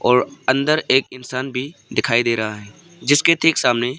और अंदर एक इंसान भी दिखाई दे रहा है जिसके ठीक सामने--